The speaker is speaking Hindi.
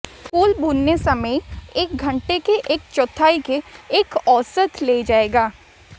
कुल भूनने समय एक घंटे के एक चौथाई के एक औसत ले जाएगा